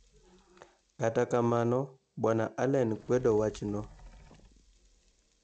Kata kamano bwana Allen kwedo wachno.